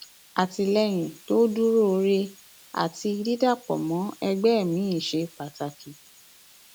àtìlẹyìn tó dúróore àti àti dídàpọ mọ ẹgbẹ miín ṣe pàtàkì